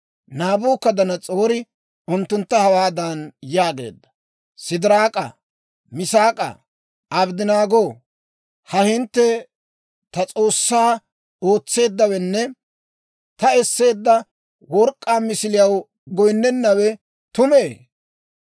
Naabukadanas'oori unttuntta hawaadan yaageedda; «Sidiraak'aa, Misaak'aa, Abddanaagoo, ha hintte ta s'oossatoo ootsennawenne ta esseedda work'k'aa misiliyaw goyinnennawe tumee?